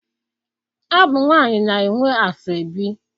Ọ bụ nwaanyị na-enwe asọebi.